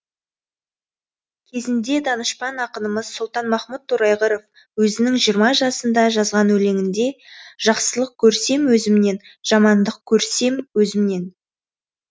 кезінде данышпан ақынымыз сұлтанмахмұт торайғыров өзінің жиырма жасында жазған өлеңінде жақсылық көрсем өзімнен жамандық көрсем өзімнен